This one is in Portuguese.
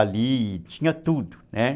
Ali tinha tudo, né?